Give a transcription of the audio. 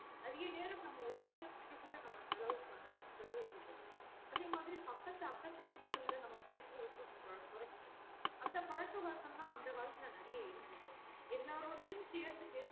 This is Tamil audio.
அதிக நேரம் நம்ம உறவினர் கிட்ட கூட நம்ம செலவு பண்ணல செலவு இடுறது இல்ல அதே பக்கத்துக்கு அக்கத்து வீட்டுகள் ல நம்ம பேசுறது கூட நம்ம கொரச்சுட்டோம் அந்த பழக்க வழக்கலா அந்த காலத்துல நெறையா இருந்தது எல்லருடையும் சேர்ந்து பேசுற